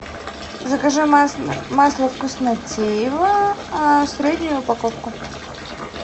закажи масло вкуснотеево среднюю упаковку